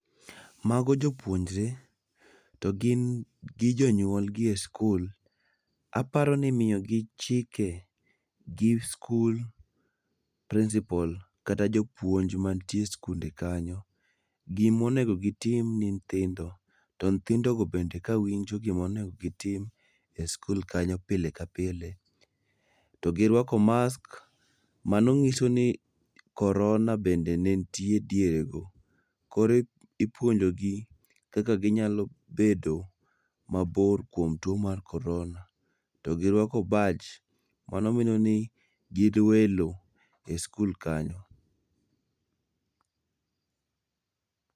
Mago jopuonjre, to gin gi jonyuol gi e skul. Aparo ni imiyogi chike gi skul principal kata jopuonj mantie e skul kanyo. Gima onego gitim ni nyithindo to nyithindogo be kawinjo gima onego gitim e skul kanyo pile ka pile. To giruako masks, mano nyiso ni korona bende ne nitie dierego. Koro ipuonjogi kaka ginyalo bedo mabor kuom tuo mar korona. To giruaho baj mano nyiso ni gin welo e skul kanyo